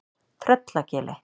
Tröllagili